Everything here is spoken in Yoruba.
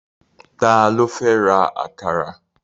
Ta ló fẹ́ ra àkàrà?